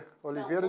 Oliveira.